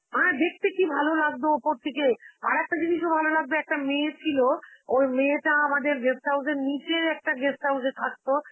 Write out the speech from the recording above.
হ্যাঁ দেখতে কি ভালো লাগতো ওপর থেকে, আরেকটা জিনিসও ভালো লাগতো, একটা মেয়ে ছিল, ওই মেয়েটা আমাদের guest house এর নিচে একটা guest house এ থাকতো.